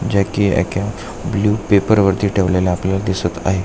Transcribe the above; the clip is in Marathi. ज्या की एका ब्लु पेपर वरती ठेवलेल्या आपल्याला दिसत आहेत.